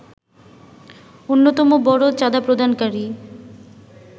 অন্যতম বড় চাঁদাপ্রদানকারী